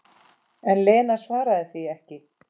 En Lena svaraði því ekki.